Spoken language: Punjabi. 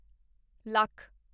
ਲੱਖ